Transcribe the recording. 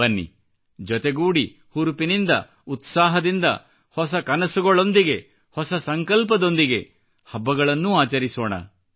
ಬನ್ನಿ ಜೊತೆಗೂಡಿ ಹುರುಪಿನಿಂದ ಉತ್ಸಾಹದಿಂದ ಹೊಸ ಕನಸುಗಳೊಂದಿಗೆ ಹೊಸ ಸಂಕಲ್ಪದೊಂದಿಗೆ ಹಬ್ಬಗಳನ್ನೂ ಆಚರಿಸೋಣ